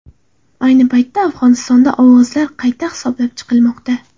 Ayni paytda Afg‘onistonda ovozlar qayta hisoblab chiqilmoqda.